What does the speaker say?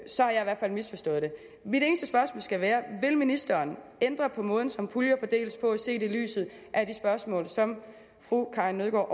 så har jeg i hvert fald misforstået det mit eneste spørgsmål skal være vil ministeren ændre på måden som puljer fordeles på set i lyset af de spørgsmål som fru karin nødgaard